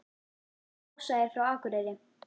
Ása er frá Akureyri.